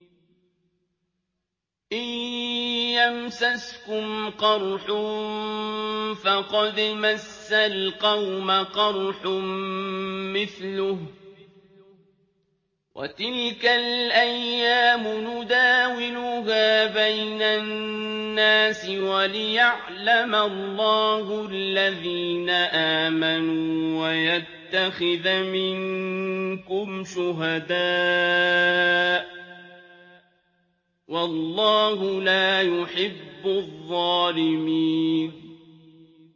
إِن يَمْسَسْكُمْ قَرْحٌ فَقَدْ مَسَّ الْقَوْمَ قَرْحٌ مِّثْلُهُ ۚ وَتِلْكَ الْأَيَّامُ نُدَاوِلُهَا بَيْنَ النَّاسِ وَلِيَعْلَمَ اللَّهُ الَّذِينَ آمَنُوا وَيَتَّخِذَ مِنكُمْ شُهَدَاءَ ۗ وَاللَّهُ لَا يُحِبُّ الظَّالِمِينَ